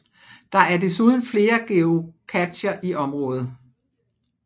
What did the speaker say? Der er desuden flere geocacher i området